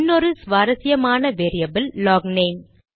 இன்னொரு சுவாரசியமான வேரியபில் லாக்நேம்